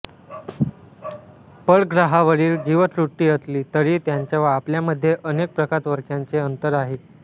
परग्रहावरील जीवसृष्टी असली तरीही त्यांच्या व आपल्यामध्ये अनेक प्रकाशवर्षांचे अंतर आहे